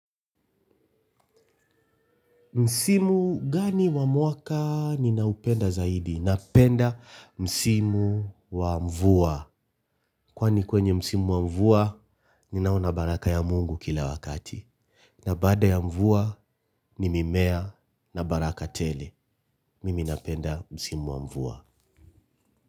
Msimu gani wa mwaka ninaupenda zaidi? Napenda msimu wa mvua. Kwani kwenye msimu wa mvua naona baraka ya Mungu kila wakati. Na baada ya mvua, ni mimea na baraka tele. Mimi napenda msimu wa mvua.